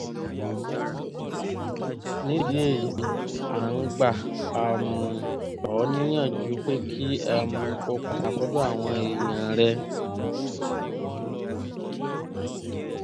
nídìí èyíi à ń gbà um ọ́ níyànjú pé kí um o padà sọ́dọ̀ àwọn èèyàn rẹ